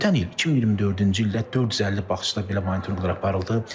Ötən il, 2024-cü ildə 450 bağçada belə monitorinqlər aparıldı.